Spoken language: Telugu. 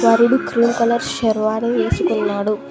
వరుడు క్రీమ్ కలర్ షర్వాణి వేసుకున్నాడు.